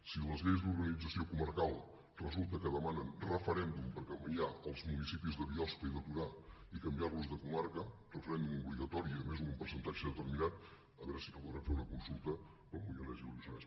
si les lleis d’organització comarcal resulta que demanen referèndum per canviar els municipis de biosca i de torà i canviarlos de comarca referèndum obligatori i a més amb un percentatge determinat a veure si no podrem fer una consulta pel moianès i el lluçanès